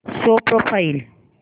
show profile